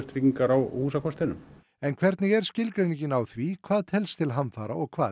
tryggingar á húsakostinum en hvernig er skilgreiningin á því hvað telst til hamfara og hvað